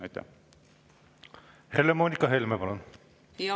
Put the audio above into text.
Helle-Moonika Helme, palun!